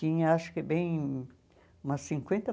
Tinha acho que bem umas cinquenta